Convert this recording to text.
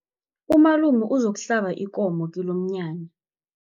Umalume uzokuhlaba ikomo kilomnyanya.